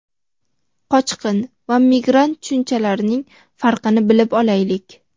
qochqin va migrant tushunchalarining farqini bilib olaylik.